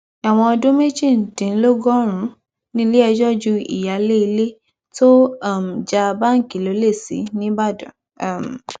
ẹwọn ọdún méjìdínlọgọrùnún níléẹjọ ju ìyáálé ilé tó um já báńkì lọlẹ sí nìbàdàn um